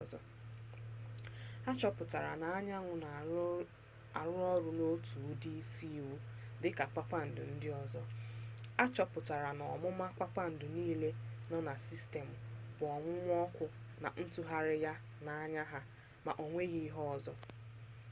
ha chọpụtara na anyanwụ na-arụ ọrụ n'otu ụdị isi iwu dịka kpakpandu ndị ọzọ a chọpụtara na omume kpakpandu niile nọ na sistemụ bụ onwunwu ọkụ na ntụgharị ha na-anya ha ma ọ nweghị ihe ọzọ